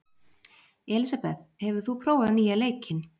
Elísabeth, hefur þú prófað nýja leikinn?